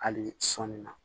Hali sɔɔni na